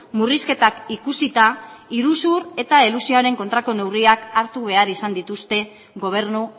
murrizketak ikusita iruzur eta elusioaren kontrako neurriak hartu behar izan dituzte gobernu